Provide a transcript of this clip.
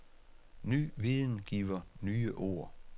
Ny viden giver nye ord.